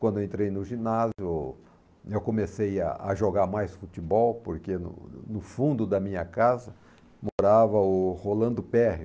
Quando eu entrei no ginásio, eu comecei a a jogar mais futebol, porque no no fundo da minha casa morava o Rolando Perriot.